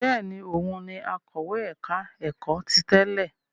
Bẹ́ẹ̀ ni, òun ni akọ̀wé ẹ̀ka-ẹ̀kọ́ ti tẹ́lẹ̀.